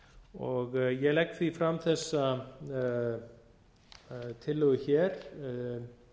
smátt hækkað ég legg því fram þessa tillögu hér um